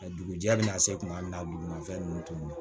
A dugujɛ bɛ na se tuma min na duguma fɛn ninnu tun na